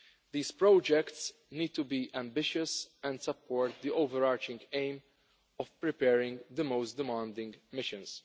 These projects need to be ambitious and support the overarching aim of preparing the most demanding missions.